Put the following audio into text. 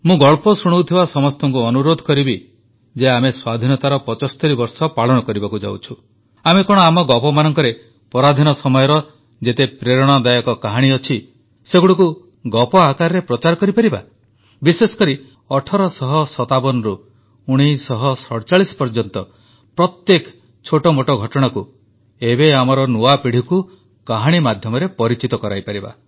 ମୁଁ ଗଳ୍ପ ଶୁଣାଉଥିବା ସମସ୍ତଙ୍କୁ ଅନୁରୋଧ କରିବି ଯେ ଆମେ ସ୍ୱାଧୀନତାର 75 ବର୍ଷ ପାଳନ କରିବାକୁ ଯାଉଛୁ ଆମେ କଣ ଆମ ଗପମାନଙ୍କରେ ପରାଧୀନ ସମୟର ଯେତେ ପ୍ରେରଣାଦାୟକ କାହାଣୀ ଅଛି ସେଗୁଡ଼ିକୁ ଗପ ଆକାରରେ ପ୍ରଚାର କରିପାରିବା ବିଶେଷକରି 1857ରୁ 1947 ପର୍ଯ୍ୟନ୍ତ ପ୍ରତ୍ୟେକ ଛୋଟମୋଟ ଘଟଣାକୁ ଏବେ ଆମର ନୂଆପିଢ଼ିକୁ କାହାଣୀ ମାଧ୍ୟମରେ ପରିଚିତ କରାଇପାରିବା